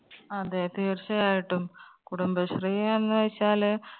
അതെ തീർച്ചയായിട്ടും കുടുംബശ്രീ എന്ന് വെച്ചാല്